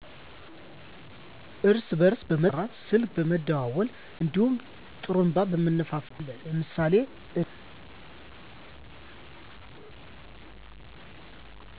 እርስ በርስ በመጠራራት ስልክ በመደወል እንዲሁም ጥሩንባ በመንፋት ይሰበሰባሉ። አለ ለምሳሌ እድር